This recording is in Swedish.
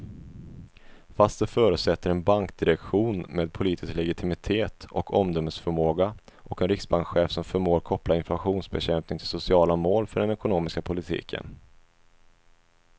Fast det förutsätter en bankdirektion med politisk legitimitet och omdömesförmåga och en riksbankschef som förmår koppla inflationsbekämpning till sociala mål för den ekonomiska politiken.